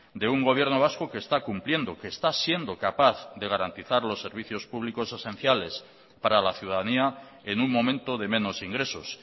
de un gobierno vasco que está cumpliendo que está siendo capaz de garantizar los servicios públicos esenciales para la ciudadanía en un momento de menos ingresos